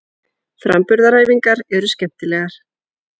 Framburðaræfingarnar eru skemmtilegar.